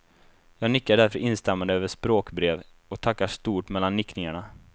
Jag nickar därför instämmande över språkbrev, och tackar stort mellan nickningarna.